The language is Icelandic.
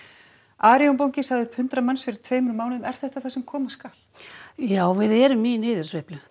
Arion banki sagði upp hundrað manns fyrir tveimur mánuðum er þetta það sem koma skal já við erum í niðursveiflu